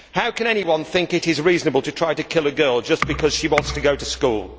How can anyone think it is reasonable to try to kill a girl just because she wants to go to school?